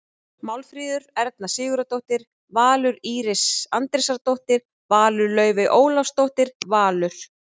Málfríður Erna Sigurðardóttir- Valur Íris Andrésdóttir- Valur Laufey Ólafsdóttir- Valur